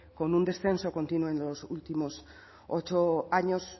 con un descenso continuo en los últimos ocho años